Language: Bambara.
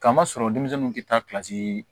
Kama sɔrɔ denmisɛnninw kun tɛ taa